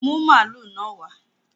Bring the cow here!